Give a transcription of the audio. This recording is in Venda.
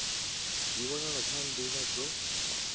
dzi wanala kha nḓila dzo